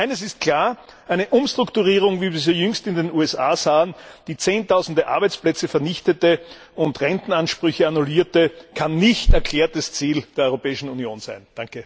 Eines ist klar Eine Umstrukturierung, wie wir sie jüngst in den USA sahen, die zehntausende Arbeitsplätze vernichtete und Rentenansprüche annullierte, kann nicht erklärtes Ziel der Europäischen Union sein.